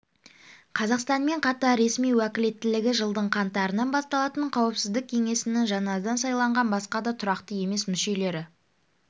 қазақстанмен қатар ресми уәкілеттілігі жылдың қаңтарынан басталатын қауіпсіздік кеңесінің жаңадан сайланған басқа да тұрақты емес мүшелері